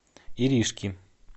иришки